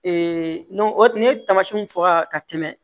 o n'i ye tamasiyɛnw fɔ ka tɛmɛ